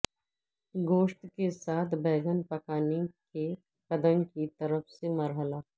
گوشت کے ساتھ بینگن پکانے کے قدم کی طرف سے مرحلہ